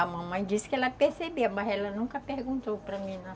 A mamãe disse que ela percebia, mas ela nunca perguntou para mim nada.